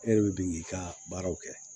E de bɛ bin k'i ka baaraw kɛ